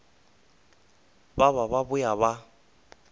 ba ba ba boa ba